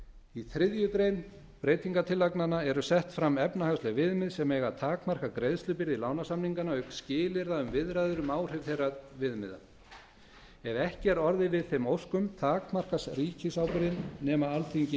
í þriðju grein breytingartillagnanna eru sett fram efnahagsleg viðmið sem eiga að takmarka greiðslubyrði lánasamninganna auk skilyrða um viðræður um áhrif þeirra viðmiða ef ekki er orðið við þeim óskum takmarkast ríkisábyrgðin nema alþingi